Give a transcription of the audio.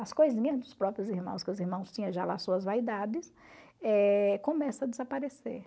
As coisinhas dos próprios irmãos, que os irmãos tinham já lá suas vaidades, ehcomeça a desaparecer.